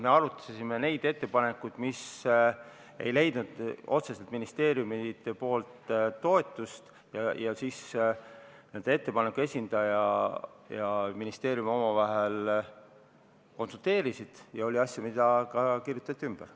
Me arutasime neid ettepanekuid, mis ei leidnud otseselt ministeeriumide toetust, siis ettepaneku esindaja ja ministeerium omavahel konsulteerisid ning oli asju, mis tehti ka ümber.